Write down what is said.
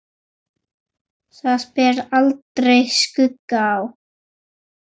Þar bar aldrei skugga á.